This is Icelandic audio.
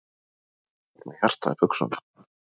Var með hjartað í buxunum